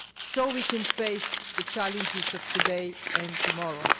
so that we can face the challenges of today and tomorrow.